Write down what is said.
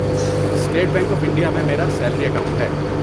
State Bank of India میں میرا salary account ہے۔